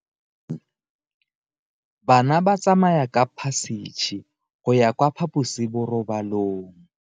Bana ba tsamaya ka phašitshe go ya kwa phaposiborobalong.